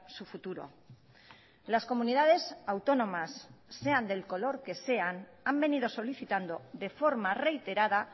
su futuro las comunidades autónomas sean del color que sean han venido solicitando de forma reiterada